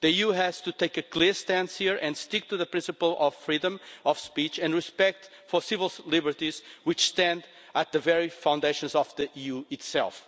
The EU has to take a clear stance here and stick to the principle of freedom of speech and respect for civil liberties, which stand at the very foundations of the EU itself.